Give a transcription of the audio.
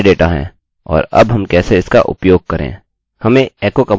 हमें echo command इस्तेमाल करने की आवश्यकता है